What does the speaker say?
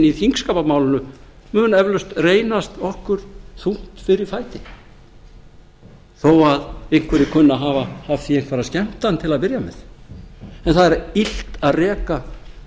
í þingskapamálinu mun eflaust reynast okkur þungt fyrir fæti þó að einhverjir kunni að hafa af því einhverja skemmtan til að byrja með en það er illt að reka